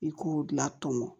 I k'o la tɔmɔ